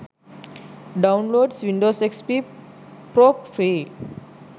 downloads windows xp pro free